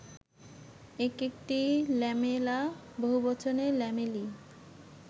এক একটি ল্যামেলা, বহুবচনে ল্যামেলি